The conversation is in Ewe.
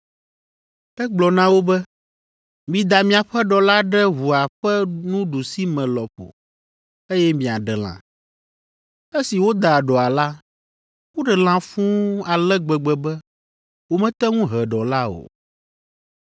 Egblɔ na wo be, “Mida miaƒe ɖɔ la ɖe ʋua ƒe nuɖusime lɔƒo, eye miaɖe lã.” Esi woda ɖɔa la, woɖe lã fũu ale gbegbe be womete ŋu he ɖɔ la o.